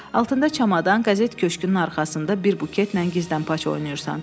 Altında çamadan, qəzet köşkünün arxasında bir buketlə gizdənpaç oynayırsan.